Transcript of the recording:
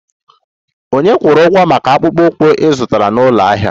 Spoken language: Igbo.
Ònye kwụrụ ụgwọ maka akpụkpọ ụkwụ ị zụtara n'ụlọ ahịa ahụ?